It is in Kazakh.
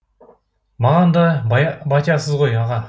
маған да батясыз ғой аға